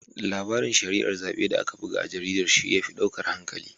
Larabin shari'ar zaɓe da aka buga a jaridar shi ya fi ɗaukar hankalina.